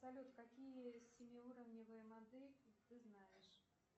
салют какие семиуровневые модельки ты знаешь